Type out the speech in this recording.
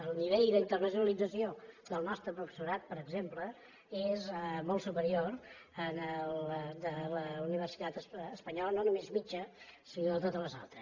el nivell d’internacionalització del nostre professorat per exemple és molt superior al de la universitat espanyola no només mitjana sinó de totes les altres